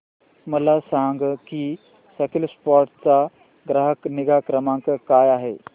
मला सांग की स्कीलसॉफ्ट चा ग्राहक निगा क्रमांक काय आहे